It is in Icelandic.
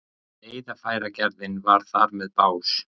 Veiðarfæragerðin var þar með bás.